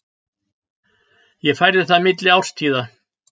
Ég færði það milli árstíða.